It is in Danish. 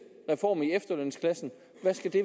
reform i efterlønsklassen